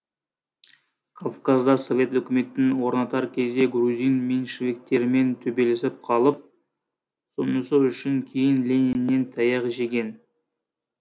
кавказда совет өкіметін орнатар кезде грузин меньшевиктерімен төбелесіп қалып сонысы үшін кейін лениннен таяқ жеген